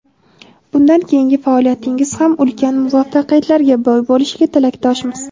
Bundan keyingi faoliyatingiz ham ulkan muvaffaqiyatlarga boy bo‘lishiga tilakdoshmiz.